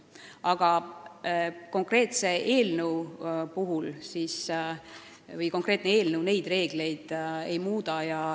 Aga konkreetne eelnõu neid reegleid ei muuda.